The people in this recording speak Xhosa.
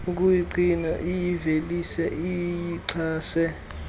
ukuyingqina iyivelise iyixhase